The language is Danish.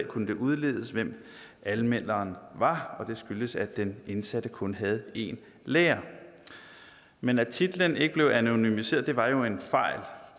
kunne det udledes hvem anmelderen var og det skyldtes at den indsatte kun havde en lærer men at titlen ikke blev anonymiseret var jo en fejl